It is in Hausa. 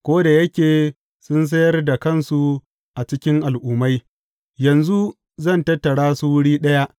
Ko da yake sun sayar da kansu a cikin al’ummai, yanzu zan tattara su wuri ɗaya.